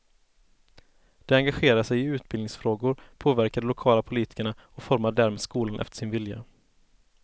De engagerar sig i utbildningsfrågor, påverkar de lokala politikerna och formar därmed skolan efter sin vilja.